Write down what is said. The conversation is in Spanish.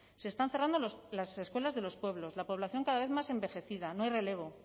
se están cerrando las escuelas de los pueblos la población cada vez más envejecida no hay relevo